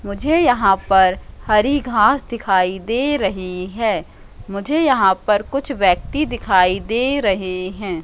मुझे यहां पर हरि घास दिखाई दे रही है मुझे यहां पर कुछ व्यक्ति दिखाई दे रहे है।